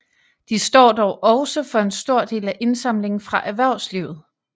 De står dog også for en stor del af indsamlingen fra erhvervslivet